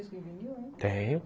Tem disco em vinil, né? Tenho